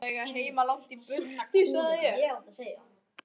Svona væri að eiga heima langt í burtu, sagði ég.